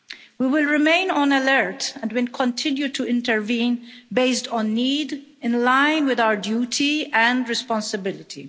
We will remain on alert and will continue to intervene, based on need, in line with our duty and responsibility.